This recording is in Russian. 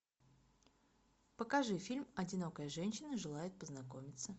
покажи фильм одинокая женщина желает познакомиться